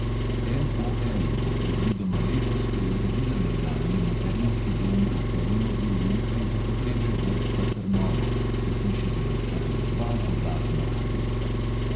MOL bo predvidoma letos preuredila nekdanji materinski dom v karunovi ulici za potrebe vrtca trnovo, v hiši bodo odprli dva dodatna oddelka.